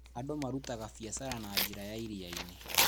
Andũ marutaga biacara na njĩra ya iria-inĩ.